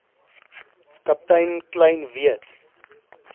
kaptein kleyn weet